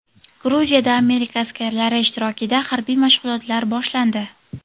Gruziyada Amerika askarlari ishtirokida harbiy mashg‘ulotlar boshlandi.